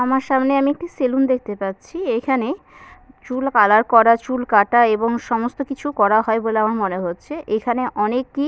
আমার সামনে আমি একটু সেলুন দেখতে পাচ্ছি এখানে চুল কালার করা চুল কাটা এবং সমস্ত কিছু করা হয় বলে আমার মনে হচ্ছে এখানে অনেকেই।